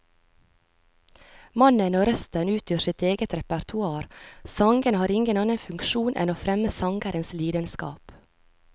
Mannen og røsten utgjør sitt eget repertoar, sangene har ingen annen funksjon enn å fremme sangerens lidenskap.